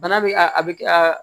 Bana bɛ a a bɛ a